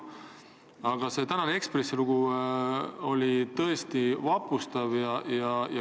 Aga see Eesti Ekspressi tänane lugu oli tõesti vapustav.